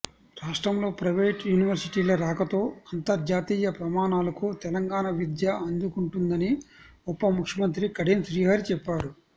రాష్ట్రంలో ప్రైవేటు యూనివర్శిటీల రాకతో అంతర్జాతీయ ప్రమాణాలకు తెలంగాణ విద్య అందుకుంటుందని ఉప ముఖ్యమంత్రి కడియం శ్రీహరి చెప్పారు